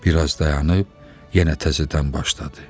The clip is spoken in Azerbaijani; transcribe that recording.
Bir az dayanıb, yenə təzədən başladı.